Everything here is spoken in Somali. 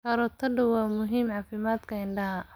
Karootadu waa muhiim caafimaadka indhaha.